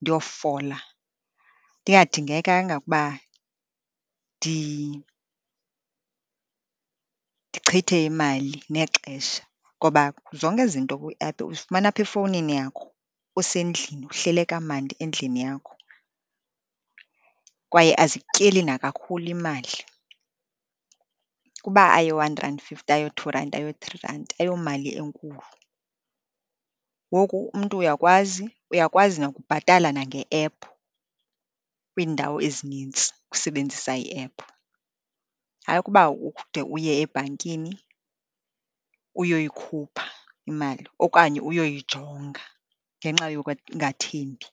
ndiyofola. Ndingadingekanga ukuba ndichithe imali nexesha, ngoba zonke ezi zinto kwiephu uzifumana apha efowunini yakho usendlini, uhlele kamandi endlini yakho, kwaye azikutyeli nakakhulu imali, ukuba ayiyo-one rand fifty, ayiyo-two rand, ayiyo-three rand, ayomali enkulu. Ngoku, umntu uyakwazi, uyakwazi nokubhatala nange-ephu kwiindawo ezinintsi usebenzisa i-ephu, hayi ukuba ude uye ebhankini uyoyikhupha imali okanye uyoyijonga ngenxa yokungathembi.